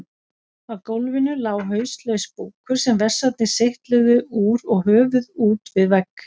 Á gólfinu lá hauslaus búkur sem vessarnir seytluðu úr og höfuð út við vegg.